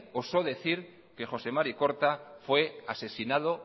osó decir que joxe mari korta fue asesinado